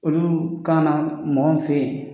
Olu kana na mɔgɔ min fe yen